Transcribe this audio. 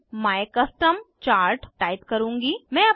मैं my custom chart type करुँगी